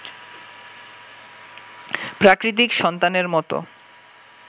প্রাকৃতিক সন্তানের মতো